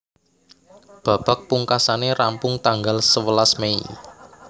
Babak pungkasané rampung tanggal sewelas Mei